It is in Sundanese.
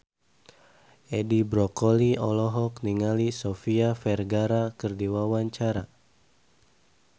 Edi Brokoli olohok ningali Sofia Vergara keur diwawancara